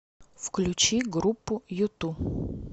включи группу юту